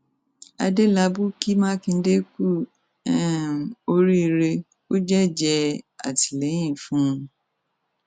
adélábù kí mákindé kú um oríire ó jẹjẹẹ àtìlẹyìn fún un